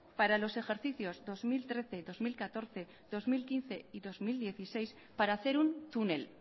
para los ejercicios dos mil trece dos mil catorce dos mil quince y dos mil dieciséis para hacer un túnel